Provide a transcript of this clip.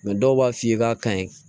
dɔw b'a f'i ye k'a ka ɲi